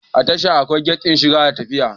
A tasha akwai gat din shiga da na fita